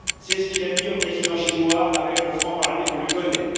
C'est ce qu'il a dit au président chinois avec le franc parler qu'on lui connaît.